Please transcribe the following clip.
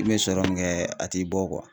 I bɛ sɔrɔ min kɛ a t'i bɔ